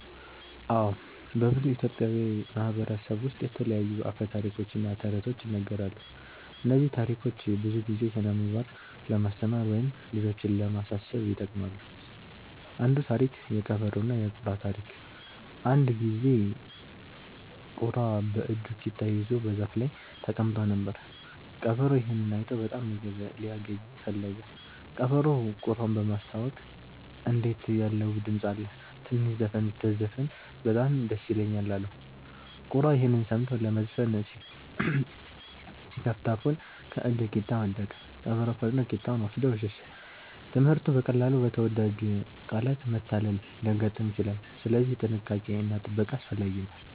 አዎ፣ በብዙ ኢትዮጵያዊ ማህበረሰቦች ውስጥ የተለያዩ አፈ ታሪኮች እና ተረቶች ይነገራሉ። እነዚህ ታሪኮች ብዙ ጊዜ ስነ-ምግባር ለማስተማር ወይም ልጆችን ለማሳሰብ ይጠቅማሉ። አንዱ ታሪክ (የቀበሮና የቁራ ታሪክ) አንድ ጊዜ ቁራ በእጁ ቂጣ ይዞ በዛፍ ላይ ተቀምጦ ነበር። ቀበሮ ይህን አይቶ በጣም ምግብ ሊያገኝ ፈለገ። ቀበሮው ቁራውን በማስታወቅ “እንዴት ያለ ውብ ድምፅ አለህ! ትንሽ ዘፈን ብትዘፍን በጣም ደስ ይለኛል” አለው። ቁራ ይህን ሰምቶ ለመዘፈን ሲከፍት አፉን ከእጁ ቂጣ ወደቀ። ቀበሮ ፈጥኖ ቂጣውን ወስዶ ሸሸ። ትምህርቱ: በቀላሉ በተወዳጅ ቃላት መታለል ሊያጋጥም ይችላል፣ ስለዚህ ጥንቃቄ እና ጥበቃ አስፈላጊ ነው።